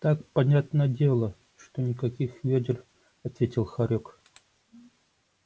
так понятно дело что никаких вёдер ответил хорёк